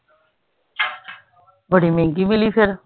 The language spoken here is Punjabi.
ਬੜੀ ਮਹਿੰਗੀ ਮਿਲੀ ਫਿਰ